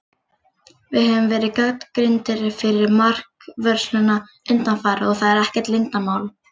Við höfum verið gagnrýndir fyrir markvörsluna undanfarið, og það er ekkert leyndarmál.